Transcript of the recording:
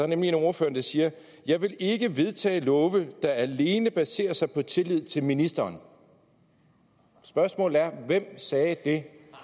nemlig en af ordførerne der siger jeg vil ikke vedtage love der alene baserer sig på tillid til ministeren spørgsmålet er hvem sagde det